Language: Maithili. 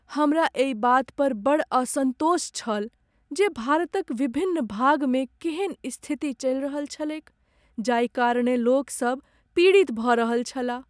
हमरा एहि बात पर बड़ असन्तोष छल जे भारतक विभिन्न भागमे केेहन स्थिति चलि रहल छलैक जाहि कारणेँ लोक सब पीड़ित भऽ रहल छलाह।